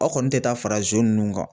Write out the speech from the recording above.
Aw kɔni tɛ taa fara zon ninnu kan